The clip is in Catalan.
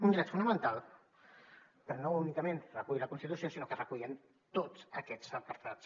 un dret fonamental que no únicament recull la constitució sinó que es recull en tots aquests apartats